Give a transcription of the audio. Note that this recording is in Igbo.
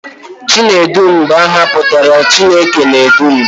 Chinedu bụ aha pụtara 'Chineke na-edu m'